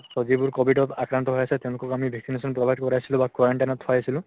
so যিবোৰ কভিডত আক্ৰন্ত হৈ আছে তেওঁলোকক আমি vaccination provide কৰাইছিলো বা quarantine ত থোৱাইছিলো